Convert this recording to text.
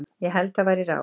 Ég held það væri ráð.